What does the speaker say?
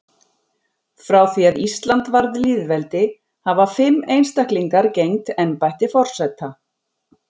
Frá því að Ísland varð lýðveldi hafa fimm einstaklingar gegnt embætti forseta.